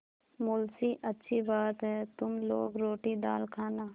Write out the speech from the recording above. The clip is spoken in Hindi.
मुंशीअच्छी बात है तुम लोग रोटीदाल खाना